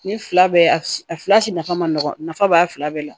Ni fila bɛɛ a fila si nafa ma nɔgɔn nafa b'a fila bɛɛ la